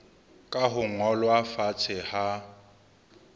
ka ho ngolwa fatshe ha